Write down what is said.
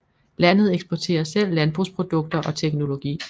Landet eksporterer selv landbrugsprodukter og teknologi